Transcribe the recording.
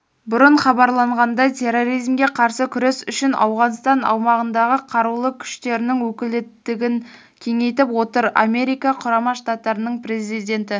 бұрын хабарланғандай терроризмге қарсы күрес үшін ауғанстан аумағындағықарулы күштерінің өкілеттігін кеңейтіп отыр америка құрама штаттарының президенті